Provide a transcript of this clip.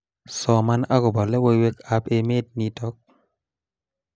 Soman akobo logoiwekab emet nito